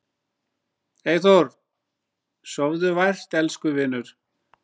Eyþór, sofðu vært elsku vinur.